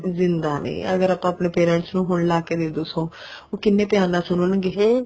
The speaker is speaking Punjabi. ਜਿੰਦਾਂ ਨੇ ਅਗਰ ਆਪਾਂ ਆਪਣੇ parents ਨੂੰ ਹੁਣ ਲਾਕੇ ਦੇਦੋ song ਉਹ ਕਿੰਨੇ ਧਿਆਨ ਨਾਲ ਸੁਣਨਗੇ ਹੈਂ